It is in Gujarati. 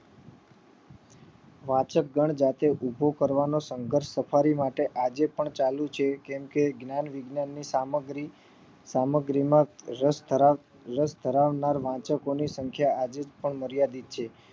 વાચક ગણ જાતે ઉભો કરવાનો સંઘર્ષ સફારી માટે આજે પણ ચાલુ છે કે કેમ કે જ્ઞાન વિજ્ઞાન ની સામગ્રી સામગ્રી માં રસ ધરાવ રસ ધરાવનાર વાચકો ની સંખ્યા સંખ્યા આજે પણ માર્યાદિત છે